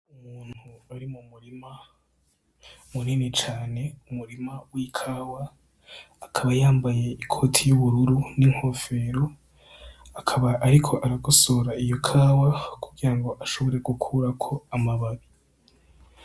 Umuntu ari mu murima munini cane, umurima w'ikawa, akaba yambaye ikoti y'ubururu n'inkofero, akaba ariko aragosora iyo kawa kugirango ashobore gukurako amababi.